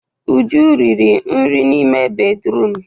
Uju riri nri n'ime bédrụum.